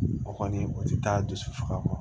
O kɔni o ti taa dusu faga